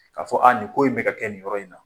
Ka fɔ a ni ko in bɛ ka kɛ ni yɔrɔ in na